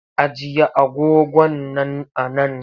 Ajiye agogon nan a nan!